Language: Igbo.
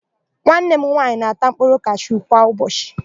Nwanne m nwaanyị na-ata mkpụrụ kashu kwa ụbọchị.